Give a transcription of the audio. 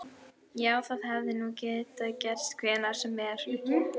Já, það hefði nú getað gerst hvenær sem er.